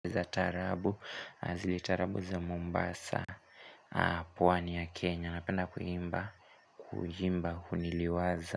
Za tarabu, zile tarabu za Mombasa pwani ya Kenya, napenda kuhimba Kuhimba, kuniliwaza.